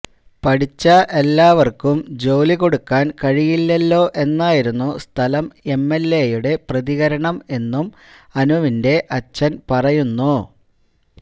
പഠിച്ച എല്ലാവർക്കും ജോലി കൊടുക്കാൻ കഴിയില്ലല്ലൊ എന്നായിരുന്നു സ്ഥലം എംഎൽഎയുടെ പ്രതികരണം എന്നും അനുവിന്റെ അച്ഛൻ പറയുന്നു